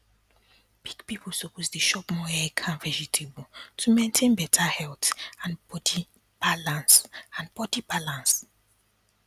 big people suppose dey chop more egg and vegetable to maintain better health and body balance and body balance